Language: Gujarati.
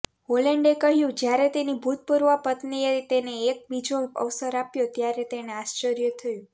હોલેન્ડે કહ્યું જ્યારે તેની ભૂતપૂર્વ પત્નીએ તેને એક બીજો અવસર આપ્યો ત્યારે તેને આશ્ચર્ય થયું